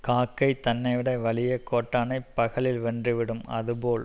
காக்கை தன்னைவிட வலிய கோட்டானைப் பகலில் வென்று விடும் அது போல்